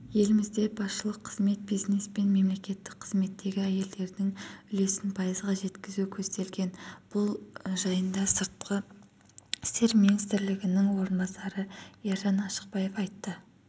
елімізде басшылық қызмет бизнес пен мемлекеттік қызметтегі әйелдердің үлесін пайызға жеткізу көзделген бұл жайында сыртқы істер министрінің орынбасары ержан ашықбаев айтты